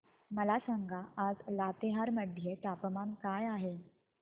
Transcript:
मला सांगा आज लातेहार मध्ये तापमान काय आहे